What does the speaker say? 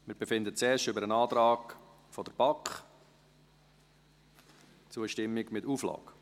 Wir befinden zuerst über den Antrag der BaK, Zustimmung mit Auflage.